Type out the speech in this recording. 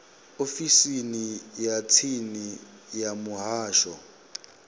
ofisini ya tsini ya muhasho